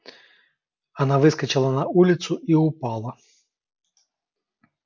она выскочила на улицу и упала